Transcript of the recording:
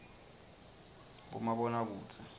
bomabonakudze